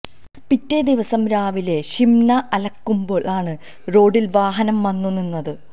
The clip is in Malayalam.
പിറ്റേ ദിവസം രാവിലെ ഷിംന അലക്കുമ്പോൾ ആണ് റോഡിൽ വാഹനം വന്നു നിന്നത്